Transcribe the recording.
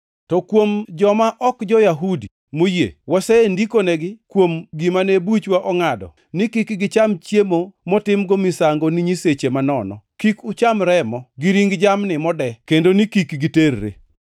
To kuom joma ok jo-Yahudi moyie, wasendikonegi kuom gimane buchwa ongʼado ni kik gicham chiemo motimgo misango ni nyiseche manono, kik ucham remo, gi ring jamni mode, kendo ni kik giterre.”